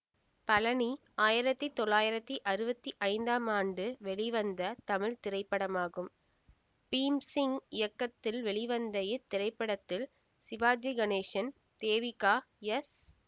பழநி ஆயிரத்தி தொள்ளயிரதி அறுவத்தி ஐந்தாம் ஆண்டு வெளிவந்த தமிழ் திரைப்படமாகும் பீம்சிங் இயக்கத்தில் வெளிவந்த இத்திரைப்படத்தில் சிவாஜி கணேசன் தேவிகா எஸ்